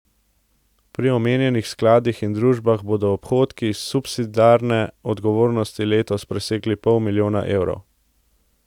Pri omenjenih skladih in družbah bodo odhodki iz subsidiarne odgovornosti letos presegli pol milijona evrov.